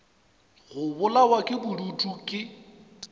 go bolawa ke bodutu ke